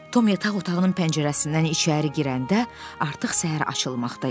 Tom yataq otağının pəncərəsindən içəri girəndə artıq səhər açılmaqda idi.